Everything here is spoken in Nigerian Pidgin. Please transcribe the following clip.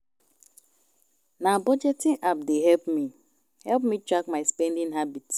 Na budgeting app dey help me help me track my spending habit.